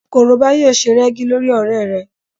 Korobá yóò se rẹ́gí lórí ọ̀rẹ́ rẹ